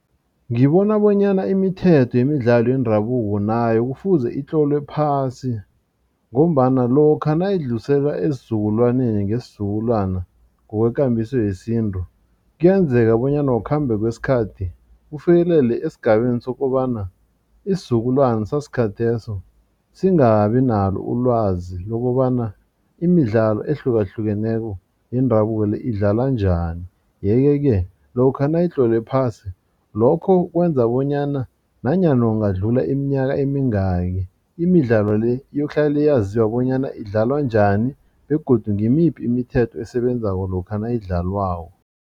Ngibona bonyana imithetho yemidlalo yendabuko nayo kufuze itlolwe phasi ngombana lokha nayidluliselwa esizukulwaneni ngesizukulwana ngokwekambiso yesintu kuyenzeka bonyana ngokukhambe kwesikhathi ufikelele esigabeni sokobana isizukulwana sasikhatheso singabi nalo ulwazi lokobana imidlalo ehlukahlukeneko yendabuko le idlalwa njani. Yeke-ke lokha nayitlolwe phasi lokho kwenza bonyana nanyana kungadlula iminyaka emingaki imidlalo le iyokuhlala yaziwa bonyana idlalwa njani begodu ngimiphi imithetho esebenzako lokha nayidlalwako.